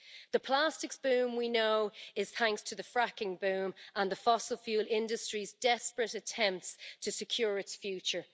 The plastic spoon, we know, is thanks to the fracking boom and the fossil fuel industry's desperate attempts to secure its future.